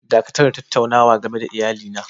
Dakatar da tattaunawa game da iyalina!!